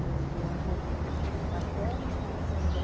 É o meu avô paterno chamava-se André.